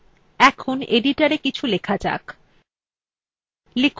এখন editorএ কিছু লেখা যাক